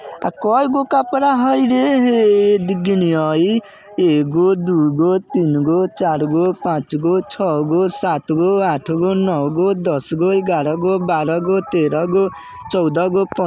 आ कइगो कपड़ा हइ रे हे दी गिनयइ एगो दुगो तीनगो चारगो पाँचगो छगो सातगो आठगो नौगो दसगो ग्यारागो बारागो तेरागो चौदगो पन--